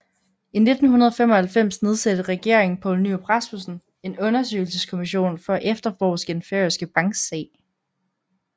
I 1995 nedsatte regeringen Poul Nyrup Rasmussen en undersøgelseskommission for at efterforske den færøske banksag